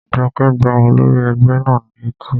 Jọkẹ́ gbá olórí ẹgbẹ́ náà ní etí